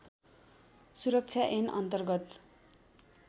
सुरक्षा ऐन अन्तर्गत